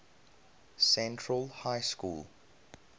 central high school